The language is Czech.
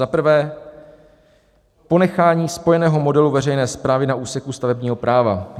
"Za prvé, ponechání spojeného modelu veřejné správy na úseku stavebního práva.